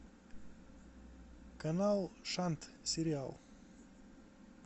канал шант сериал